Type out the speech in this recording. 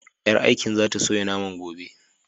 Ƴar aikin za ta soya naman gobe.